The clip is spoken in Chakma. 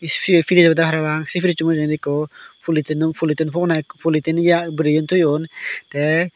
sibey frij obodey parapang sey frijo mujungedi ikko folotino floting pona ikko flotin ya guri toyon tey.